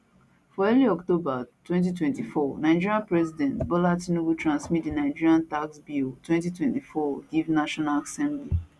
for early october 2024 nigeria president bola tinubu transmit di nigeria tax bill 2024 give national assembly